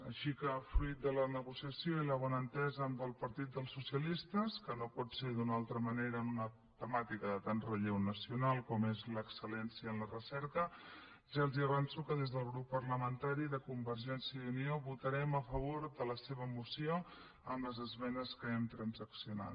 així que fruit de la negociació i la bona entesa amb el partit dels socialistes que no pot ser d’una altra manera en una temàtica de tant relleu nacional com és l’excel·lència en la recerca ja els avanço que des del grup parlamentari de convergència i unió votarem a favor de la seva moció amb les esmenes que hem transaccionat